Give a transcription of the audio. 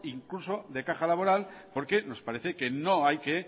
incluso de caja laboral porque nos parece que no hay que